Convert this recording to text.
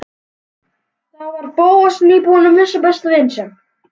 Þá var Bóas nýbúinn að missa besta vin sinn.